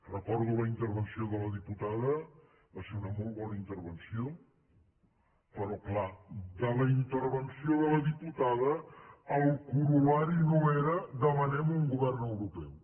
recordo la intervenció de la diputada va ser una molt bona intervenció però és clar de la intervenció de la diputada el corol·lari no era demanem un govern europeu